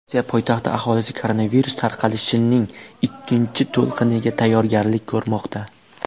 Rossiya poytaxti aholisi koronavirus tarqalishining ikkinchi to‘lqiniga tayyorgarlik ko‘rmoqda.